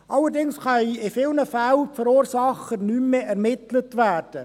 Allerdings können in vielen Fällen die Verursacher nicht mehr ermittelt werden.